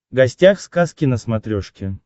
гостях сказки на смотрешке